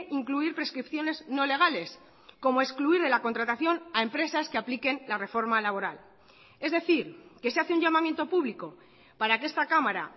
incluir prescripciones no legales como excluir de la contratación a empresas que apliquen la reforma laboral es decir que se hace un llamamiento público para que esta cámara